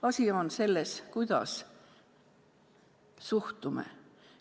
Asi on selles, kuidas suhtume.